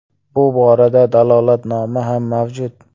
Bu borada dalolatnoma ham mavjud.